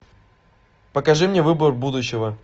покажи мне выбор будущего